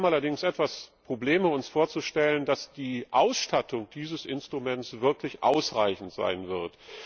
Wir haben allerdings etwas Probleme uns vorzustellen, dass die Ausstattung dieses Instruments wirklich ausreichend sein wird.